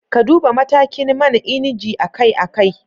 Ka Duba matakin man inji akai-akai